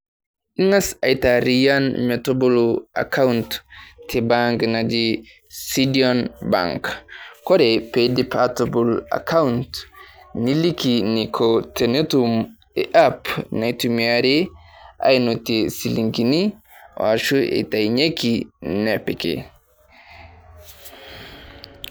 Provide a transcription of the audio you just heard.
Ing'as aitaarrian metobolo account te bank naji Sidian bank. Kore peidip aatabol account niliki neiko tenetum App naitumiari ainotie silingini, ashua eitayunyeki nepiki.